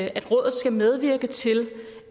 at rådet skal medvirke til